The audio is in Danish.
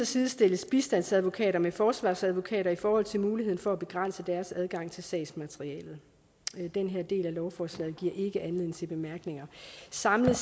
sidestilles bistandsadvokater med forsvarsadvokater i forhold til muligheden for at begrænse deres adgang til sagsmaterialet den her del af lovforslaget giver ikke anledning til bemærkninger samlet